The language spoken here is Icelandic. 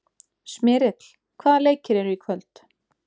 Smyrill, hvaða leikir eru í kvöld?